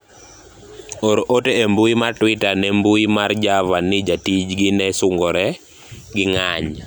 or ote e mbui mar twitter ne mbui mar Java ni jatij gi ne sungore gi ng'ayi